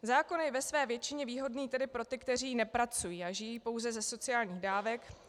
Zákon je ve své většině výhodný tedy pro ty, kteří nepracují a žijí pouze ze sociálních dávek.